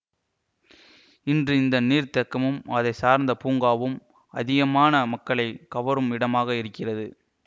இன்று இந்த நீர்தேக்கமும் அதை சார்ந்த பூங்காவும் அதிகமான மக்களை கவரும் இடமாக இருக்கிறது